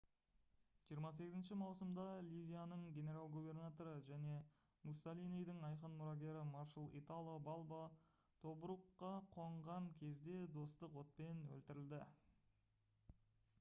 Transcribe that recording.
28 маусымда ливияның генерал-губернаторы және муссолинидің айқын мұрагері маршал итало балбо тобрукқа қонған кезде достық отпен өлтірілді